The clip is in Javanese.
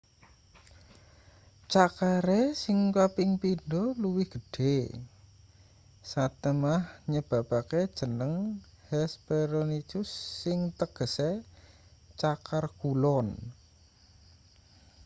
cakare sing kaping pindho luwih gedhe satemah nyebabake jeneng hesperonychus sing tegese cakar kulon